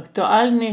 Aktualni